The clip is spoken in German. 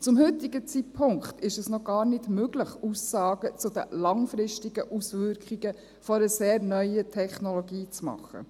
Zum heutigen Zeitpunkt ist es noch gar nicht möglich, Aussagen zu den langfristigen Auswirkungen einer sehr neuen Technologie zu machen.